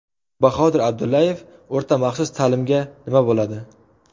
Bahodir Abdullayev O‘rta-maxsus ta’limga nima bo‘ladi?